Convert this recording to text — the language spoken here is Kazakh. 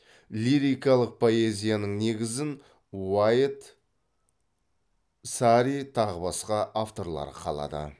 лирикалық поэзияның негізін уайет сари тағы басқа авторлар қалады